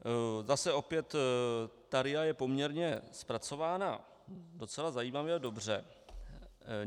Zase opět - ta RIA je poměrně zpracována docela zajímavě a dobře.